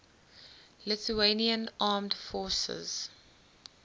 lithuanian armed forces